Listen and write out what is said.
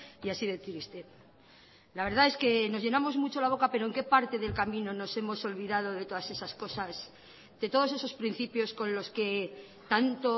y así de triste la verdad es que nos llenamos mucho la boca pero en qué parte del camino nos hemos olvidado de todas esas cosas de todos esos principios con los que tanto